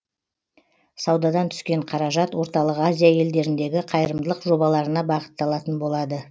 саудадан түскен қаражат орталық азия елдеріндегі қайырымдылық жобаларына бағытталатын болады